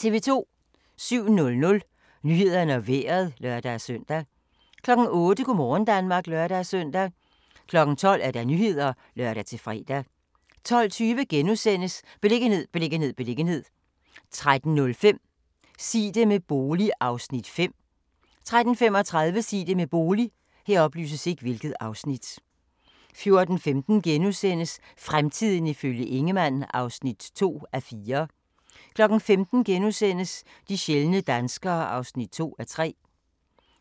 07:00: Nyhederne og Vejret (lør-søn) 08:00: Go' morgen Danmark (lør-søn) 12:00: Nyhederne (lør-fre) 12:20: Beliggenhed, beliggenhed, beliggenhed * 13:05: Sig det med bolig (Afs. 5) 13:35: Sig det med bolig 14:15: Fremtiden ifølge Ingemann (2:4)* 15:00: De sjældne danskere (2:3)*